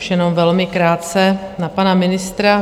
Už jenom velmi krátce na pana ministra.